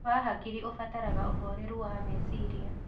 Wa hakĩrĩ ũbataraga ũhorerũ wa mecĩrĩa